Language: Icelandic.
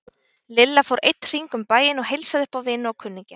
Lilla fór einn hring um bæinn og heilsaði upp á vini og kunningja.